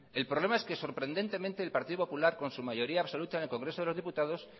el problema es que sorprendentemente el partido popular con su mayoría absoluta en el congreso de los diputados